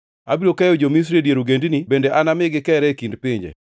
Abiro keyo jo-Misri e dier ogendini bende anami gikeree e kind pinje.